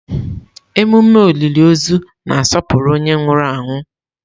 Ememe olili ozu na-asọpụrụ onye ahụ nwụrụ anwụ.